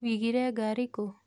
Wigire ngari kũ?